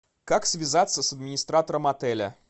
как связаться с администратором отеля